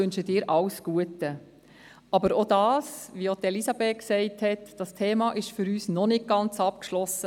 Auch für uns ist dieses Thema, wie es schon Elisabeth Striffeler gesagt hat, noch nicht ganz abgeschlossen.